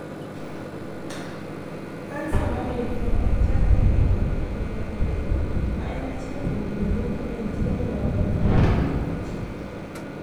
Kansa mar 'lymphoma' chakore ei nyarung'rung mag del, ma en achiel kuom kuonde ma del tiyo godo e geng'o tuoche.